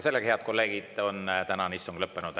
Sellega, head kolleegid, on tänane istung lõppenud.